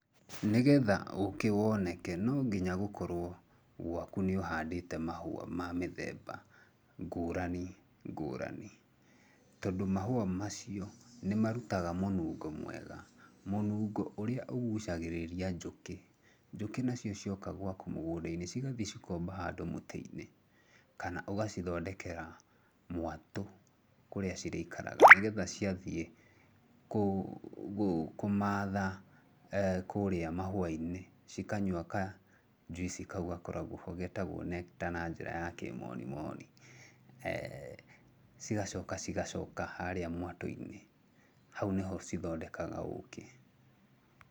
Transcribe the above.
Nĩgetha ũkĩ woneke, no nginya gũkorrwo gwaku nĩ ũhandĩte mahũa ma mĩthemba ngũrani ngũrani, tondũ mahũa macio nĩmarutaga mũnungo mwega, mũnungo ũrĩa ũgucagĩrĩria njũkĩ. Njũkĩ nacio cioka gwaku mũgũnda-inĩ cigathiĩ cikomba handũ mũtĩ-inĩ, kana ũgacithondekera mwatũ kũrĩa cirĩikaraga nĩ getha ciathiĩ kũmatha kũrĩa mahũa-inĩ cikanyua kajuici kau gakoragwo hau getagwo nectar na njĩra kĩmoni moni cigacoka cigacoka harĩ mwatũ-inĩ, hau nĩho cithondekaga ũkĩ.